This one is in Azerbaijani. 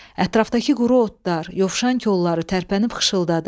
Ətrafdakı quru otlar, yovşan kolları tərpənib xışıladı.